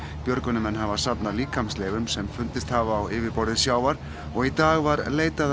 björgunarmenn hafa safnað líkamsleifum sem fundist hafa á yfirborði sjávar og í dag var leitað